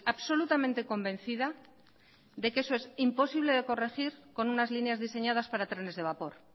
absolutamente convencida de que eso es imposible de corregir con unas líneas diseñadas para trenes de vapor